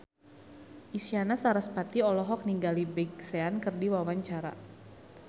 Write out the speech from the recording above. Isyana Sarasvati olohok ningali Big Sean keur diwawancara